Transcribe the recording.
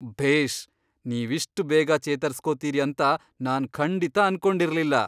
ಭೇಷ್! ನೀವಿಷ್ಟ್ ಬೇಗ ಚೇತರ್ಸ್ಕೊತೀರಿ ಅಂತ ನಾನ್ ಖಂಡಿತ ಅನ್ಕೊಂಡಿರ್ಲಿಲ್ಲ.